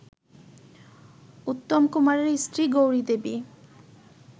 উত্তমকুমারের স্ত্রী গৌরিদেবী